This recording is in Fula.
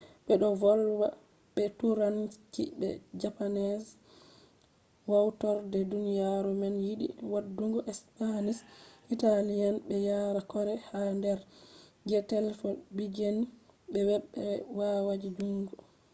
be do volwa be turanci be japanese hautorde duniyaru man yidi wadugo spanish italian be yare korea ha der je telebijin web be wayaji jungo